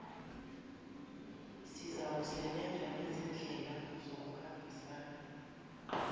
zizawusebenza njengezindlela zokuhambisa